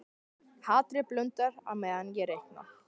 Hatrið blundar á meðan ég reikna.